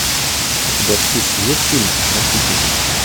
у тебя в списке есть фильм защитники